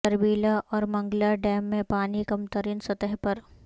تربیلا اور منگلا ڈیم میں پانی کم ترین سطح پر